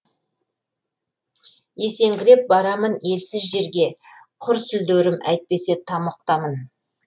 есеңгіреп барамын ессіз желге құр сүлдерім әйтпесе тамұқтамын